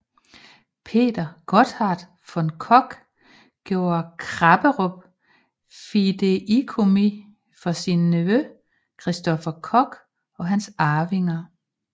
Peter Gotthard von Koch gjorde Krapperup fideikommis for sin nevø Christopher Koch og hans arvinger